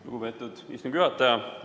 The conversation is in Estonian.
Lugupeetud istungi juhataja!